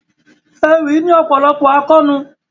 Ewì ní ọ̀pọ̀lọpọ̀ àkóónú.